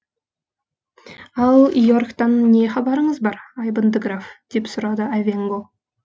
ал иорктан не хабарыңыз бар айбынды граф деп сұрады айвенго